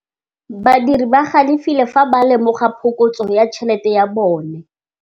Badiri ba galefile fa ba lemoga phokotsô ya tšhelête ya bone.